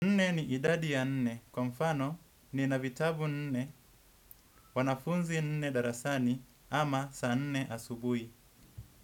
Nne ni idadi ya nne, kwa mfano nina vitabu nne, wanafunzi nne darasani ama saa nne asubuhi.